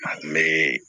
A kun be